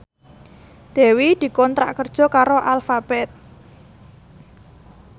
Dewi dikontrak kerja karo Alphabet